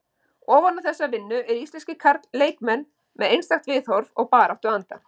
Ofan á þessa vinnu eru íslenskir leikmenn með einstakt viðhorf og baráttuanda.